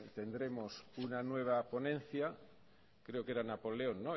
tendremos una nueva ponencia creo que era napoleón